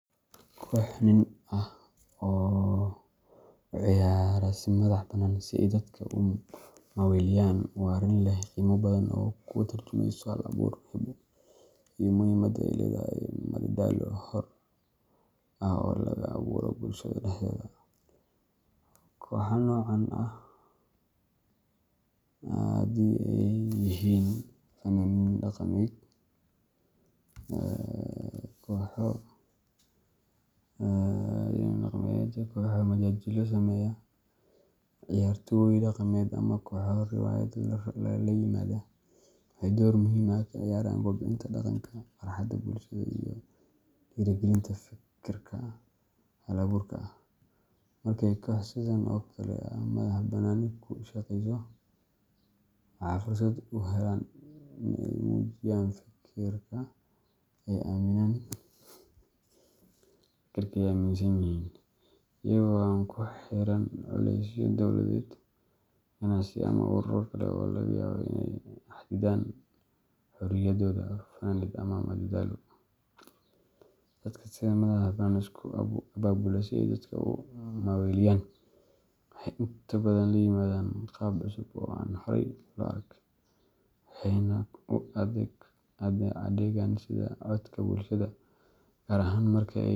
Koox nin ah oo u ciyaara si madax bannaan si ay dadka u maaweeliyaan waa arrin leh qiimo badan oo ka tarjumeysa hal-abuur, hibo, iyo muhiimadda ay leedahay madadaalo xor ah oo laga abuuro bulshada dhexdeeda. Kooxo noocan ah haddii ay yihiin fanaaniin dhaqameed, kooxo majaajilo sameeya, ciyaartooy dhaqameed, ama kooxo riwaayad la yimaada – waxay door muhiim ah ka ciyaaraan kobcinta dhaqanka, farxadda bulshada, iyo dhiirrigelinta fikirka hal-abuurka ah. Marka ay koox sidan oo kale ah madax-bannaani ku shaqeyso, waxay fursad u helaan in ay muujiyaan fikirka ay aaminsan yihiin, iyaga oo aan ku xiran culeysyo dowladeed, ganacsi, ama ururo kale oo laga yaabo inay xadidaan xorriyadooda faneed ama madadaalo. Dadka sida madax-bannaan isku abaabula si ay dadka u maaweeliyaan, waxay inta badan la yimaadaan qaab cusub oo aan horay loo arag, waxayna u adeegaan sidii codka bulshada, gaar ahaan marka ay.